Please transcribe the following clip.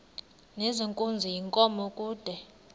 nezenkunzi yenkomo kude